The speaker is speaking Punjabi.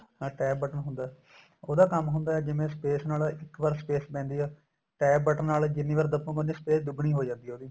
ਹਾਂ TAB button ਹੁੰਦਾ ਉਹਦਾ ਕੰਮ ਹੁੰਦਾ ਜਿਵੇਂ space ਨਾਲ ਇੱਕ ਵਰ space ਪੈਂਦੀ ਏ TAB button ਨਾਲ ਜਿੰਨੀ ਵਰ ਦਬੋਗੇ ਉੰਨੀ space ਦੁਗਣੀ ਹੋ ਜਾਂਦੀ ਏ ਉਹਦੀ